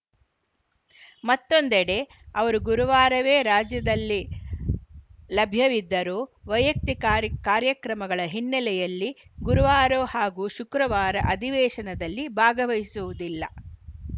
ಮತ್ತೊಂದೆಡೆ ಅವರು ಗುರುವಾರವೇ ರಾಜ್ಯದಲ್ಲಿ ಲಭ್ಯವಿದ್ದರೂ ವೈಯಕ್ತಿಕ ಕಾರ್ಯ್ ಕಾರ್ಯಕ್ರಮಗಳ ಹಿನ್ನೆಲೆಯಲ್ಲಿ ಗುರುವಾರ ಹಾಗೂ ಶುಕ್ರವಾರ ಅಧಿವೇಶನದಲ್ಲಿ ಭಾಗವಹಿಸುವುದಿಲ್ಲ